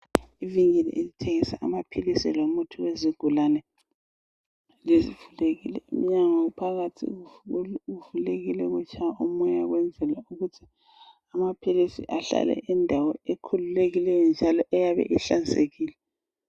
Ivenkili elithengisa amaphilisi lomuthi wezigulane. Umnyango phakathi uvulekile kutshaya umoya ukwenzela ukuthi amaphilisi ahlale endaweni ekhulelekileyo njalo eyabe ihlanzekile.